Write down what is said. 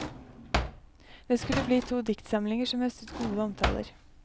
Det skulle bli to diktsamlinger som høstet gode omtaler.